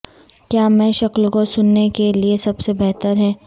کیا میں شکل کو سننے کے لئے سب سے بہتر ہے